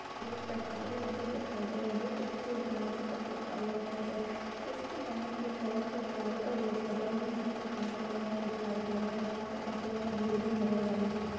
एक सरकारी ऑफिस दिखाई दे रहा है जोकि किसी राज्य का सरकारी ऑफिस है। इसके बाहर की तरफ प्लाइ का गेट है। जिस पर कांच लागा हुआ दिखाई दे रहा है। बाहर काफी ज्यादा भीड़ भी नजर आ रही है।